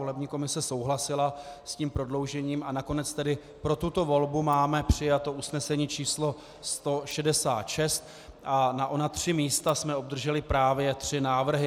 Volební komise souhlasila s tím prodloužením, a nakonec tedy pro tuto volbu máme přijato usnesení č. 166 a na ona tři místa jsme obdrželi právě tři návrhy.